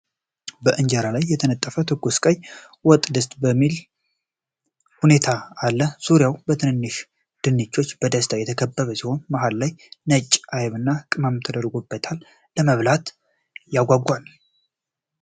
በእንጀራ ላይ የተነጠፈ ትኩስ ቀይ ወጥደስ በሚል ሁኔታ አለ። ዙሪያውን በትንንሽ ድንቾች በደስታ የተከበበ ሲሆን፣ መሃል ላይ ነጭ አይብና ቅመም ተደርጎበታል፤ ለመብላት ያጓጓል።